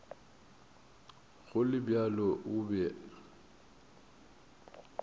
go le bjalo o be